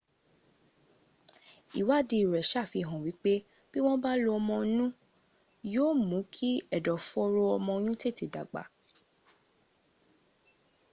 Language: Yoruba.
ìwáàdí rẹ̀ sàfihàn wípé bí wọ́n bá lo òmóònù yíò mún kí ẹ̀dọ̀fọ́ró ọmọoyún tètè dàgbà